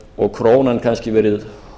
og krónan kannski verið